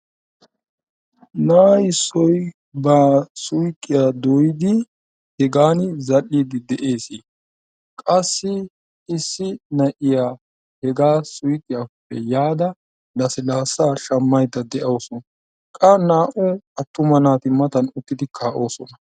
Na'a issoy ba suyqqiya dooyyidi hegaan zal''idi de'ees. qassi issi na'iyaa hegaa suyqqiyappe yaada lassilaassa shammayyida dawusu, qa naa''u attuma naati matan uttidi kaa'oosona.